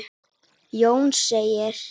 Jón segir: